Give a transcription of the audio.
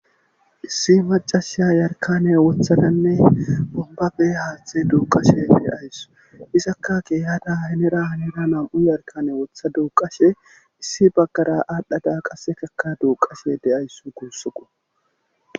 Issi macashiya yarkane wothananne bombabe haaththe duuqashe deayssu isaka keeyada hinera hinera nam7u yarkane wotha duuqashe issi baggara aaldhada qassekaka duuqashe deayssu guussukko.